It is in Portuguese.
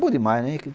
Boa demais, né?